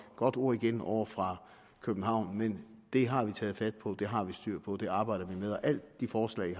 godt ord igen ovre fra københavn men det har vi taget fat på det har vi styr på og det arbejder vi med alle de forslag i